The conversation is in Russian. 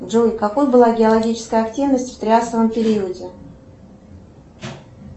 джой какой была геологическая активность в триасовом периоде